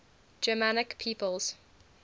germanic peoples